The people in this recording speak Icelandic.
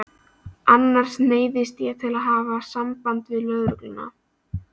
Annars neyðist ég til að hafa samband við lögregluna.